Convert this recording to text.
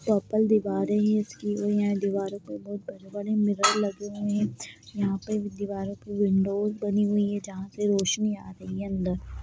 Purple दिवारें हैं इसकी और यहाँ दीवारों पे बहोत बड़े-बड़े मिरर लगे हुए हैं। यहाँ पे दीवारों पे विंडो बनी हुई हैं जहाँ से रोशनी आ रही है ।